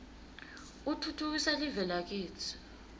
utfutfukisa live lakitsi